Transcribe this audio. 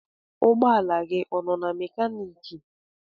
Ụgbọ ala gị ọ nọ na mekaniki?